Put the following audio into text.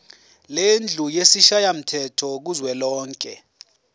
lendlu yesishayamthetho kuzwelonke